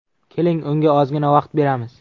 Keling, unga ozgina vaqt beramiz.